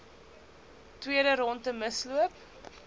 tweede rondte misloop